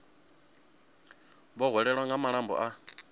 vho hwelwaho nga malombo a